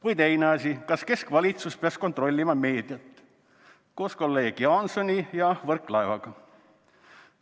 Või teine asi: "Kas keskvalitsus peaks kontrollima meediat?", koos kolleeg Jaansoni ja Võrklaevaga.